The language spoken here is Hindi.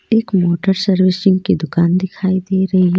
एक मोटर सर्विसिंग की दुकान दिखाई दे रही है.